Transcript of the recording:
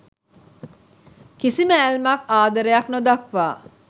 කිසිම ඇල්මක් ආදරයක් නොදක්වා